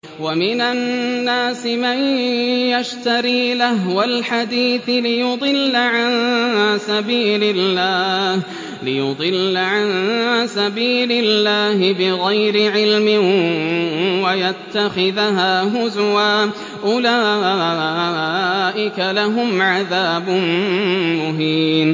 وَمِنَ النَّاسِ مَن يَشْتَرِي لَهْوَ الْحَدِيثِ لِيُضِلَّ عَن سَبِيلِ اللَّهِ بِغَيْرِ عِلْمٍ وَيَتَّخِذَهَا هُزُوًا ۚ أُولَٰئِكَ لَهُمْ عَذَابٌ مُّهِينٌ